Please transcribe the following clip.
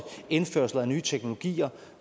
indførsel af nye teknologier